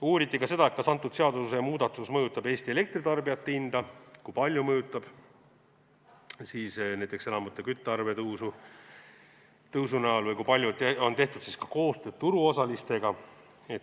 Uuriti ka seda, kas seadusemuudatus mõjutab Eestis elektritarbijatel hinda ja kui palju see mõjutab näiteks elamute küttearvete tõusu või kui palju on tehtud koostööd turuosalistega.